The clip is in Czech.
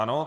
Ano.